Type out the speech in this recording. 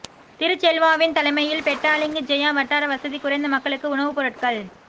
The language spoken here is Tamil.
திரு செல்வாவின் தலைமையில் பெட்டாலிங் ஜெயா வட்டார வசதி குறைந்த மக்களுக்கு உணவுப் பொருட்கள்